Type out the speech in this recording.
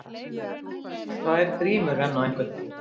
Tvær grímur renna á einhvern